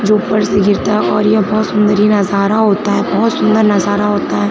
जो ऊपर से गिरता और यह बहोत सुंदर नजारा होता है बहोत सुंदर नजारा होता है।